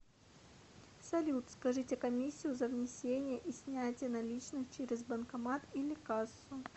салют скажите комиссию за внесение и снятие наличных через банкомат или кассу